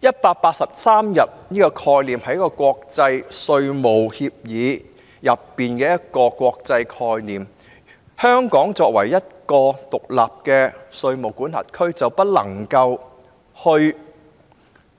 "183 天"的概念源自國際稅務協議，而香港作為一個獨立的稅務管轄區，是不能